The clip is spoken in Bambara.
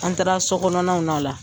An taara sokɔnaw na o la.